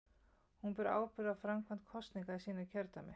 Hún ber ábyrgð á framkvæmd kosninga í sínu kjördæmi.